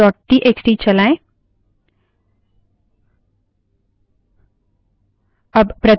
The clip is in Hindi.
cat space files dot TXT cat space files dot txt चलाएँ